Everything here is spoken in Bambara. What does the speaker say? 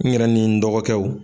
N ɲɛrɛ ni n dɔgɔkɛw